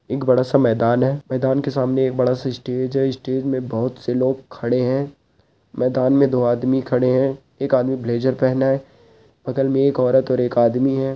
एक बड़ा सा मैदान है मैदान के सामने एक बड़ा सा स्टेज है स्टेज में बहोत से लोग खड़े हैं मैदान में दो आदमी खड़े हैं एक आदमी ब्लैज़र पहना है बगल में एक औरत और एक आदमी है।